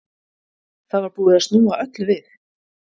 Það var búið að snúa öllu við.